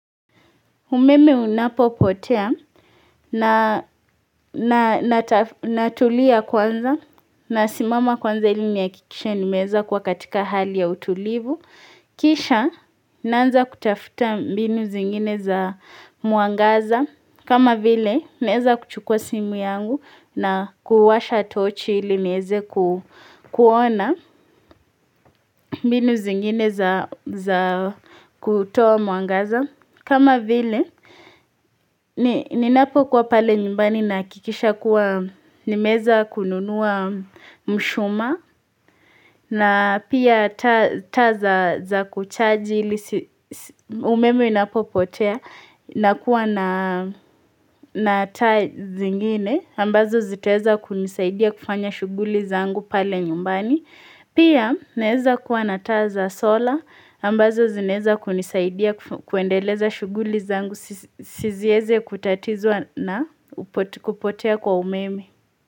Umeme unapo potea na natulia kwanza na simama kwanza ilini ya kikisha nimeeza kwa katika hali ya utulivu. Kisha, naanza kutafuta binu zingine za muangaza. Kama vile, neeza kuchukua simu yangu na kuwasha tochi ili neze kuona binu zingine za kutoa muangaza. Kama vile, ninapo kwa pale nyumbani nakikisha kuwa nimeza kununua mshuma na pia taa za kuchaji umemo inapo potea na kuwa na taa zingine ambazo ziteza kunisaidia kufanya shughuli zangu pale nyumbani. Pia naeza kuwa nataza sola ambazo zineza kunisaidia kuendeleza shughuli zangu sizieze kutatizwa na kupotea kwa umeme.